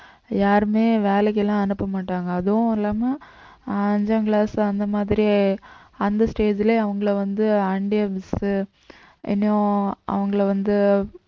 யாருமே வேலைக்கு எல்லாம் அனுப்ப மாட்டாங்க அதுவும் இல்லாம அஞ்சாங் class அந்த மாதிரி அந்த stage லயே அவங்களை வந்து அவங்களை வந்து